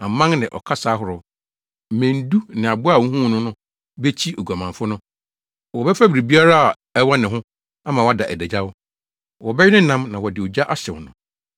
Mmɛn du ne aboa a wuhuu no no bekyi oguamanfo no. Wɔbɛfa biribiara a ɛwɔ ne ho ama wada adagyaw. Wɔbɛwe ne nam na wɔde ogya ahyew no.